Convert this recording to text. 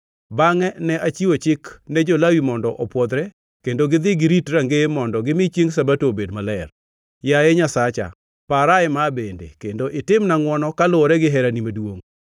Bangʼe ne achiwo chik ne jo-Lawi mondo opwodhre kendo gidhi girit rangeye mondo gimi chiengʼ Sabato obed maler. Yaye Nyasacha, para ema bende, kendo itimna ngʼwono kaluwore gi herani maduongʼ.